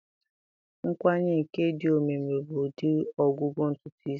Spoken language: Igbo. Nkwanye nke dị omimi bụ ụdị ọgwụgwọ ntutu isi.